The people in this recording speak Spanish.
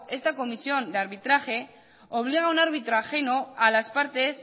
esta comisión de arbitraje obliga a un árbitro ajeno a las partes